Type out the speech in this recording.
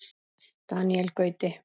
Daníel Gauti.